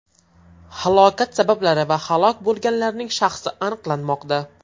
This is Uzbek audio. Halokat sabablari va halok bo‘lganlarning shaxsi aniqlanmoqda.